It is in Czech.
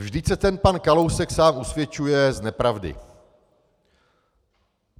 "Vždyť se ten pan Kalousek sám usvědčuje z nepravdy.